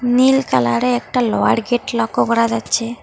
নীল colour -এ একটা lower gate লক্য করা যাচ্ছে।